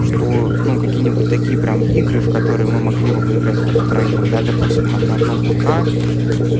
что ну какие-нибудь такие прям игры в которые мы могли бы по играть вот втроём да допустим там на одном пк